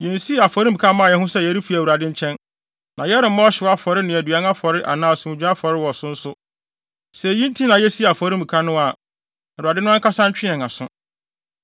yensii afɔremuka mmaa yɛn ho sɛ yɛrefi Awurade nkyɛn. Na yɛremmɔ ɔhyew afɔre ne aduan afɔre anaa asomdwoe afɔre wɔ so nso. Sɛ eyi nti na yesii afɔremuka no a, Awurade no ankasa ntwe yɛn aso.